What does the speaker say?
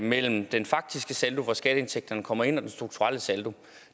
mellem den faktiske saldo hvor skatteindtægterne kommer ind og den strukturelle saldo